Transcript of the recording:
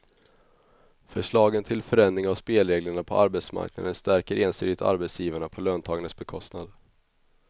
Förslagen till förändring av spelreglerna på arbetsmarknaden stärker ensidigt arbetsgivarna på löntagarnas bekostnad.